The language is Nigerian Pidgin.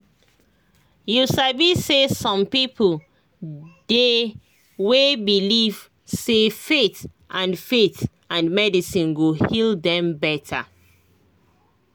you sabi say some people dey way believe say faith and faith and medicine go heal dem better